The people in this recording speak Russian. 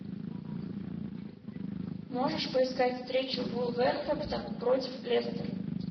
можешь поискать встречу вулверхэмптон против лестер